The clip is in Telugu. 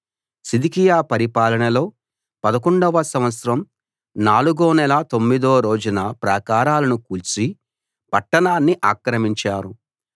సిద్కియా పరిపాలనలో 11 వ సంవత్సరం నాలుగో నెల తొమ్మిదో రోజున ప్రాకారాలను కూల్చి పట్టణాన్ని ఆక్రమించారు